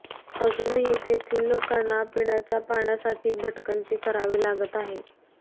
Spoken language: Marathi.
अजूनही तेथील लोकांना पिण्याच्या पाण्यासाठी भटकंती करावी लागत आहे